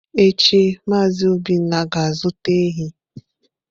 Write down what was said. Echi Mazị Obinna ga-azụta ehi.